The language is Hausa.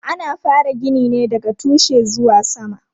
Ana fara gini ne daga tushe zuwa sama.